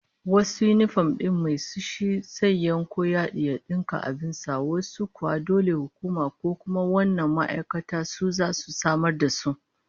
Wasu yinifom din mai su shi zai yanko yadi ya dinka abin sa, wasu kuwa dole hukuma ko kuma wannan ma'aikatar su zasu samar da su.